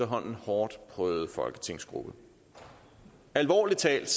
hårdt prøvede folketingsgruppe alvorligt talt